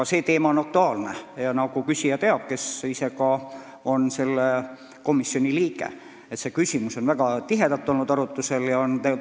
Ka see teema on aktuaalne ja nagu küsija selle komisjoni liikmena teab, on see väga tihedalt arutusel olnud.